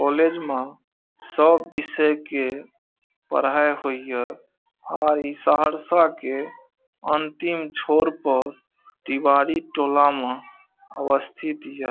College मा सब विषय के पढ़ाई होइ ह और ई सहरसा के अंतिम छोर प तिवारी टोला मा अवस्थित हिय।